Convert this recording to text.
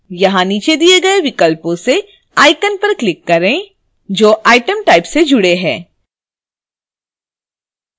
यहाँ नीचे दिए गए विकल्पों से icon पर click करें जो item type से जुड़े हैं